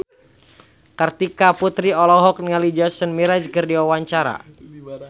Kartika Putri olohok ningali Jason Mraz keur diwawancara